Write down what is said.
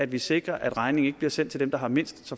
vi sikrer at regningen ikke bliver sendt til dem der har mindst